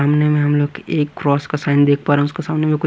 सामने में हम लोग एक क्रॉस का साइन देख पा रहे हैं उसके सामने में--